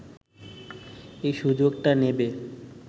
এই সুযোগটা নেবে